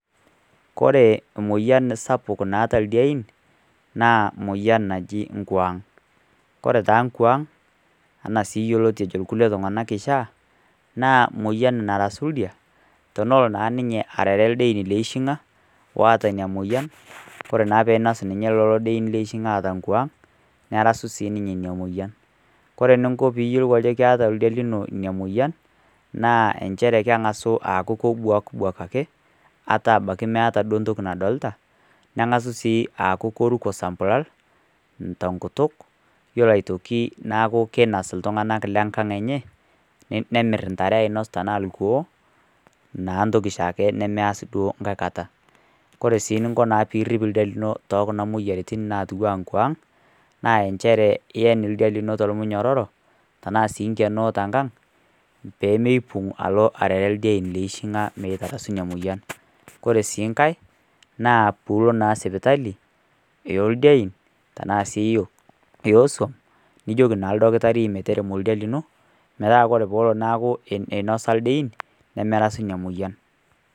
Kore moyian sapuk naata ildien, naa moyian naji nkwaang, kore taa nkwaang anaa sii yioloti ejo kulie tungana kishaa naa moyian narasu illdia tenelo naa ninye aarare ildien leishinga oata ina moyian kore naa pee einos ninye lelo dien leishinga oota nkwaang nerasu sii ninye ina moyian, kore ninko pee iyiolou ajo keeta ildia lino ina moyian naa nchere kengasu aaku kebwakibwak ake ata meata ntoki nadolita nengasu sii aku keruko sambulal tenkutuk, ore aitoki neeku keinos iltunganak lenkang enye nemir ntare ainos tenaa ilkuoo, naa ntoki shaake nemeas naa nkae kata ,ore sii ninko naa pee iripp ildia lino tekuna moyiaritn natiwua nkuangg naa nchere iyen ildia lino tolmunyororo tenaa inkenoo tenkang pee meipung alo arare ildien leishinga mengasu ina moyian, kore sii nkae naa puulo na sipitale yooldien tenaa sii iyioso nijoki naa ildakitari metaremo ildia lino metaa sii teneeku etoonyo ildien nemerasu ina moyian.